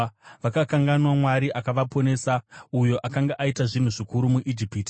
Vakakanganwa Mwari akavaponesa, uyo akanga aita zvinhu zvikuru muIjipiti,